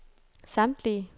samtlige